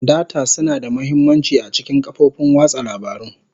Data suna da mahimmanci a cikin kafofin watsa labarun.